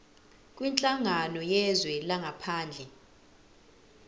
kwinhlangano yezwe langaphandle